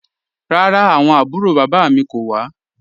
Rárá, awọn àbúrò baba mi kò wà.